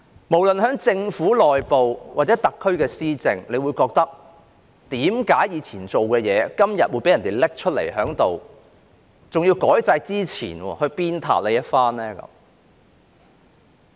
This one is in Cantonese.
無論就政府內部運作或特區施政，他們會質問，為何過去所做的事，今天會被人拿出來，還要在改制之前鞭撻一番？